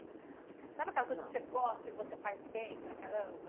Sabe aquela coisa que você gosta e que você faz bem para caramba?